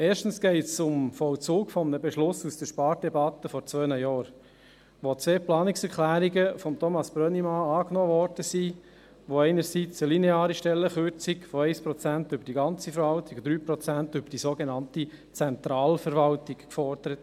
Erstens geht es um den Vollzug eines Beschlusses aus der Spardebatte von vor zwei Jahren, als die beiden Planungserklärungen von Thomas Brönnimann angenommen wurden, die einerseits eine lineare Stellenkürzung von 1 Prozent über die ganze Verwaltung und 3 Prozent über die sogenannte Zentralverwaltung forderte.